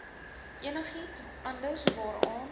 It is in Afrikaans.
enigiets anders waaraan